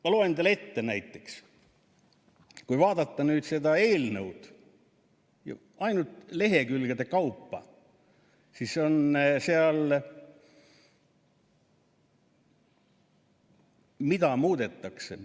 Ma loen teile ette, näiteks, kui vaadata nüüd seda eelnõu ainult lehekülgede kaupa, siis mida muudetakse.